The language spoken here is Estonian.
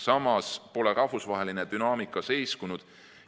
Samas pole rahvusvaheline dünaamika seiskunud.